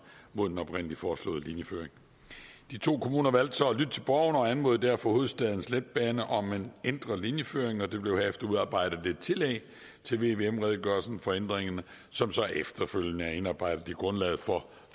mod den oprindelig foreslåede linjeføring de to kommuner valgte så at lytte til borgerne og anmodede derfor hovedstadens letbane om en ændret linjeføring der blev herefter udarbejdet et tillæg til vvm redegørelsen om ændringerne som så efterfølgende er indarbejdet i grundlaget for